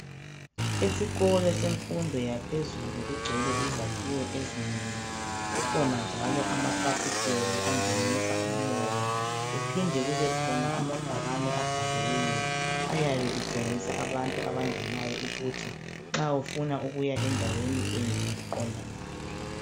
Esikolo semfundo yaphezulu kugcwele izakhiwo ezinkulu. Kukhona njalo amafasiteli angenisa umoya, kuphinde kube khona amabhakane abhaliweyo, ayabe etshengisa abantu abangenayo ukuthi nxa ufuna ukuya endaweni enje uqonda ngaphi.